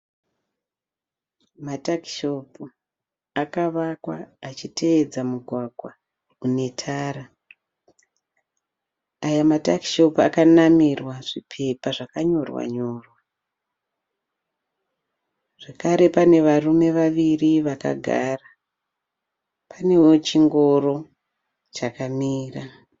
Matakishopu akavakwa achitevedza mugwagwa une tare, aya matakishopu akanamirwa zvipepa zvakanyorwa nyorwa zvakare pane varume vaviri vakagara panewo chingoro chakamira.